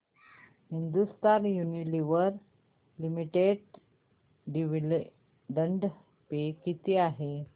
Hindustan Unilever limited dividend pay किती आहे